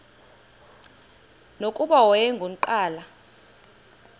nokuba wayengu nqal